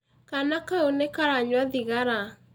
Kaana kau nĩ karanyua thigara.